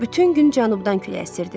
Bütün gün cənubdan külək əsirdi.